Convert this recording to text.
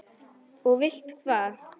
Og vilt hvað?